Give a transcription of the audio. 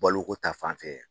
Baloko ta fanfɛ.